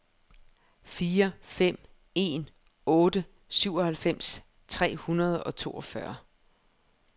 fire fem en otte syvoghalvfems tre hundrede og toogfyrre